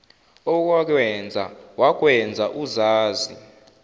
owakwenza wakwenza uzazi